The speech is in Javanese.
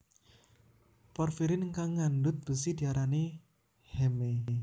Porfirin kang ngandhut besi diarani heme